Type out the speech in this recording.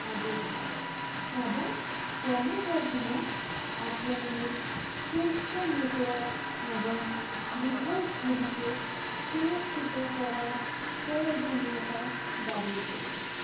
আবির্ভাব এবং ক্রমবর্ধমান আক্রমণের পৃষ্ঠ network এবং device গুলিকে সুরক্ষিত করার প্রয়োজনীয়তা বাড়িয়ে তোলে